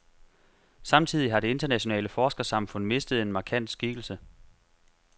Samtidig har det internationale forskersamfund mistet en markant skikkelse.